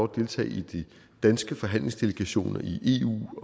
deltage i de danske forhandlingsdelegationer i eu